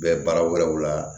Bɛ baara wɛrɛw la